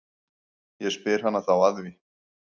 Ég spyr hana þá að því.